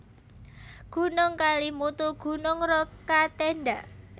Gunung KelimutuGunung Rokatenda